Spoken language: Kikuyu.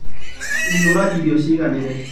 Ihũra irio ciganĩire.